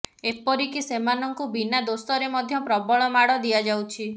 ଏପରି କି ସେମାନଙ୍କୁ ବିନା ଦୋଷରେ ମଧ୍ୟ ପ୍ରବଳ ମାଡ ଦିଆଯାଉଛି